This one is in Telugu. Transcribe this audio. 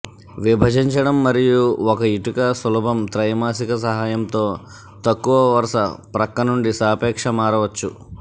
విభజించటం మరియు ఒక ఇటుక సులభం త్రైమాసిక సహాయంతో తక్కువ వరుస ప్రక్కనుండి సాపేక్ష మారవచ్చు